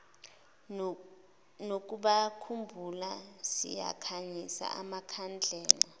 nokubakhumbula sikhanyisa amakhandlela